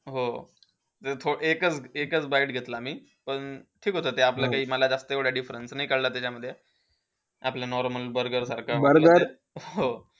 हो. ते थो एकच-एकच bite घेतला मी. पण ठीक होतं. आपला ते एवढा जास्त difference नाही काळाला त्याच्यामध्ये. आपल्या normal burger सारखा. हो.